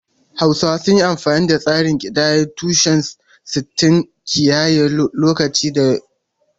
Hausawa sun yi amfani da tsarin kidayar tushe-sittin wajen kiyaye lokaci da ciniki.